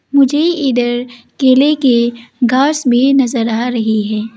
मुझे इधर केले के घास भी नजर आ रही है।